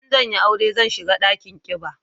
In zan yi aure zan shiga dakin kiba